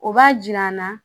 O b'a jira n na